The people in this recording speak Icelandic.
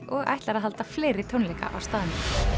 og ætlar að halda fleiri tónleika á staðnum